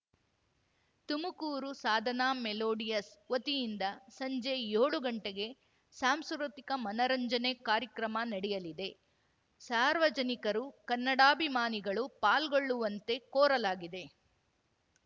Tumakuru Sadhana melodies ವತಿಯಿಂದ ಸಂಜೆ ಯೋಳು ಗಂಟೆಗೆ ಸಾಂಸ್ಕೃತಿಕ ಮನರಂಜನೆ ಕಾರ್ಯಕ್ರಮ ನಡೆಯಲಿದೆ ಸಾರ್ವಜನಿಕರು ಕನ್ನಡಾಭಿಮಾನಿಗಳು ಪಾಲ್ಗೊಳ್ಳುವಂತೆ ಕೋರಲಾಗಿದೆ